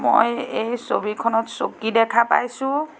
মই এই ছবিখনত চকী দেখা পাইছোঁ।